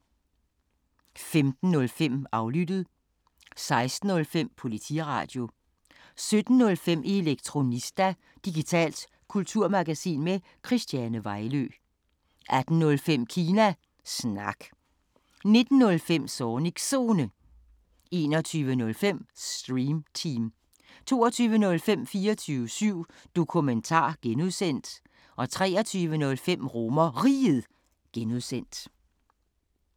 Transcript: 15:05: Aflyttet 16:05: Politiradio 17:05: Elektronista – digitalt kulturmagasin med Christiane Vejlø 18:05: Kina Snak 19:05: Zornigs Zone 21:05: Stream Team 22:05: 24syv Dokumentar (G) 23:05: RomerRiget (G)